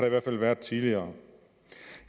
i hvert fald været tidligere